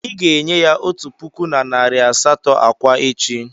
Ị ga-enye ya otu puku na narị asatọ akwa echi.